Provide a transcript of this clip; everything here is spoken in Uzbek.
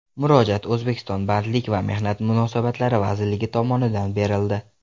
Murojaat O‘zbekiston Bandlik va mehnat munosabatlari vazirligi tomonidan berildi.